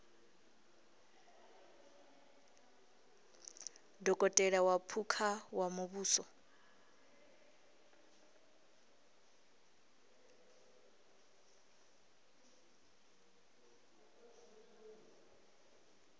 dokotela wa phukha wa muvhuso